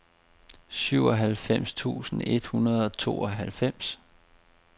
syvoghalvfems tusind et hundrede og tooghalvfems